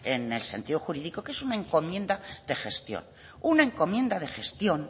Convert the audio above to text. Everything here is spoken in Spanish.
en sentido jurídico que es una encomienda de gestión una encomienda de gestión